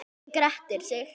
Hann grettir sig.